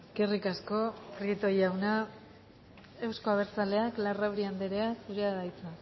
eskerrik asko prieto jauna euzko abertzaleak larrauri andrea zurea da hitza